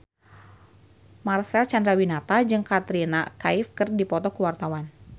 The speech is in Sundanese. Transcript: Marcel Chandrawinata jeung Katrina Kaif keur dipoto ku wartawan